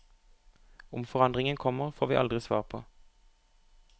Om forandringen kommer, får vi aldri svar på.